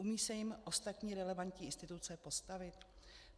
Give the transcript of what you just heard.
Umí se jim ostatní relevantní instituce postavit?